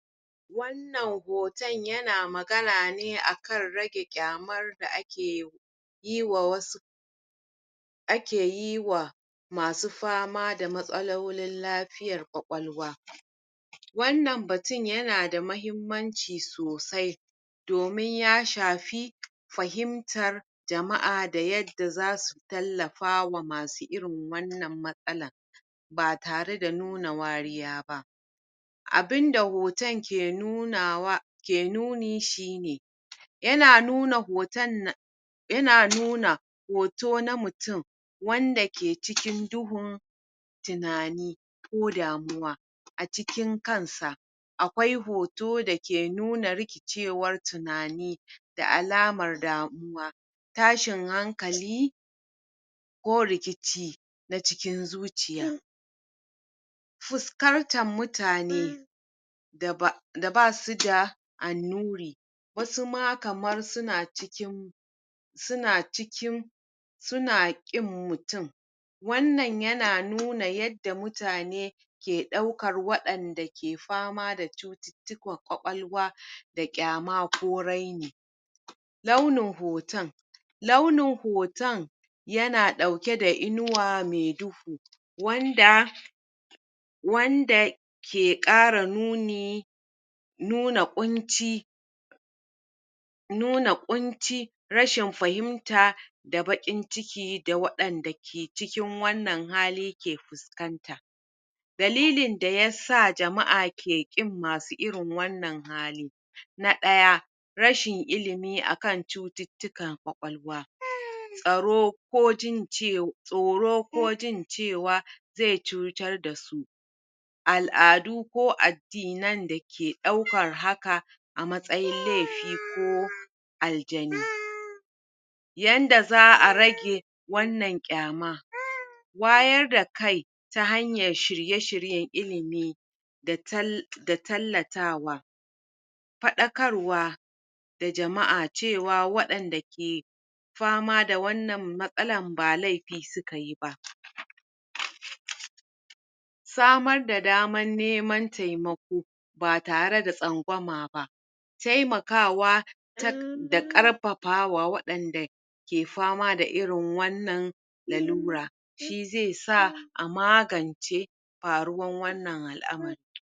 Wannan hoton yana magana ne akan rage ƙyamar da ake yi wa wasu ake yi wa masu fama da matsaulolin0 lafiyar ƙwakwalwa wannan batun yana da mahimmani sosai domin ya shafi fahimtar jama'a da yadda zasu tallafawa masu irin wannan matsalar ba tare da nuna wariya ba abunda hoton ke nunawa ke nuni shine yana nuna hoton yana nuna hoto na mutum wanda ke cikin duhun tunani ko damuwa a cikin kansa akwai hoto da ke nuna rikicewar tunani da alamar damuwa tashin hankali ko rikici na cikin zuciya fuskartar mutane da ba da basuda annuri wasu ma kamar suna cikin suna cikin suna ƙin mutum wannan yana nuna yadda mutane ke ɗaukar waɗanda ke fama da cututtukan ƙwaƙwwalwa da ƙyama ko raini launin hoton launin hoton yans ɗauke da inuwa mai duhu wanda wanda ke ƙara nuni nuna ƙunci nuna ƙunci rashin fahimta da baƙin ciki da waɗanda ke cikin wannan hali ke puskanta dallilin da yasa jama'a ke ƙin masu irin wannan hali na ɗaya rashin ilimi a kan cututtukan ƙwawalwa tsaro ko jin um tsoro ko jin cewa ze cutar da su al'adu ko addinan da ke ɗaukar haka a matsayin lefi ko aljani yanda za a rage wannan ƙyama wayar da kai ta hanyan shirye-shiryen ilimi da um da tallatawa paɗakarwa da jama'a cewa waɗanda kek fama da wannan matsalan ba lafii suka yi ba samar da daman neman temako ba tare da tsangwama ba taimakawa um da ƙarpapawa waɗanda ke fama da irin wanna lalura shi ze sa a magance paruwan wannan al'amari